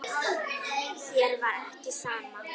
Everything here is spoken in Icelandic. Þér var ekki sama.